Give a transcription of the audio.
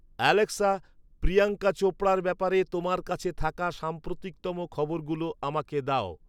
Alexa Priyanka চোপড়ার ব্যাপারে তোমার কাছে থাকা সাম্প্রতিকতম খবরগুলো আমাকে দাও